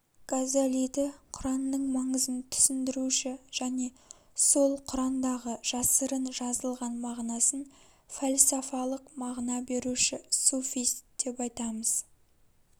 газалиді құранның маңызын түсіндіруші және сол құрандағы жасырын жазылған мағынасын фәлсафалық мағына беруші суфист деп айтамыз